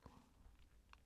DR K